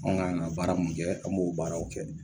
Anga ka na baara mun kɛ an b'o baaraw kɛ